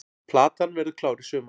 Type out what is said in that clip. Platan verður klár í sumar